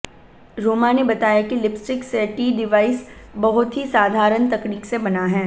रोमा ने बताया कि लिपस्टिक सेटी डिवाइस बहुत ही साधारण तकनीक से बना है